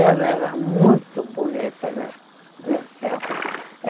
Ela era muito bonita nesse nesse tempo.